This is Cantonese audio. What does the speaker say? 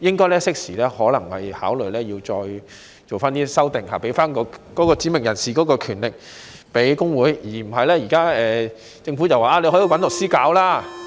政府應該適時考慮再作修訂，把指明人士的權力賦予工會，而不是現在政府所說，可以找律師處理。